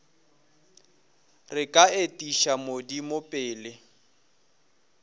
re ka etiša modimo pele